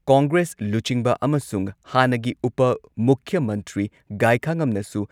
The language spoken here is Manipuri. ꯀꯣꯡꯒ꯭ꯔꯦꯁ ꯂꯨꯆꯤꯡꯕ ꯑꯃꯁꯨꯡ ꯍꯥꯟꯅꯒꯤ ꯎꯄ ꯃꯨꯈ꯭ꯌ ꯃꯟꯇ꯭ꯔꯤ ꯒꯥꯏꯈꯥꯉꯝꯅꯁꯨ